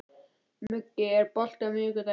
Muggi, er bolti á miðvikudaginn?